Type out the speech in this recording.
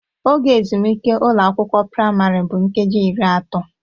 Oge ezumike ụlọ akwụkwọ praịmarị bụ nkeji iri atọ